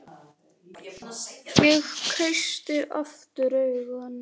Ég kreisti aftur augun.